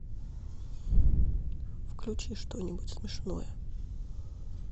включи что нибудь смешное